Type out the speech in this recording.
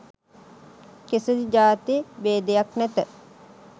කිසිදු ජාති භේදයක් නැත.